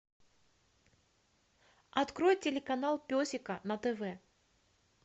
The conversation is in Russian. открой телеканал песика на тв